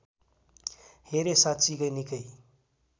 हेरे साँच्चिकै निकै